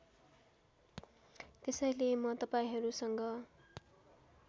त्यसैले म तपाईँहरूसँग